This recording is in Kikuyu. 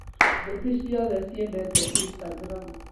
Thũ ti ciothe ciendete instagram